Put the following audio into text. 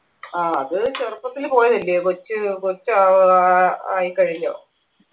ആ അത് ചെറുപ്പത്തിൽ പോയതല്ലേ കൊച്ച് കൊച്ച് ഏർ ആയി കഴിഞ്ഞ